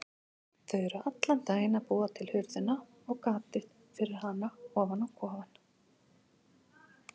Þau eru allan daginn að búa til hurðina og gatið fyrir hana á kofann.